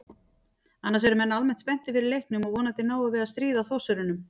Annars eru menn almennt spenntir fyrir leiknum og vonandi náum við að stríða Þórsurunum.